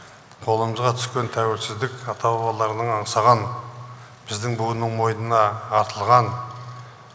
қолымызға түскен тәуелсіздік ата бабаларының аңсаған біздің буынның мойнына артылған